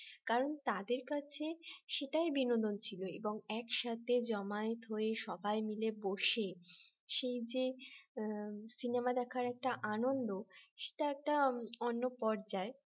কারণ তাদের কাছে সেটাই বিনোদন ছিল এবং একসাথে জমায়েত হয়ে সবাই মিলে বসে সেই যে সিনেমা দেখার একটা আনন্দ সেটা একটা অন্য পর্যায়ে